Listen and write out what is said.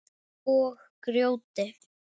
Og grjóti.